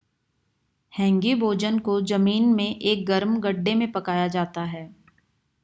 हैंगी भोजन को जमीन में एक गर्म गड्ढे में पकाया जाता है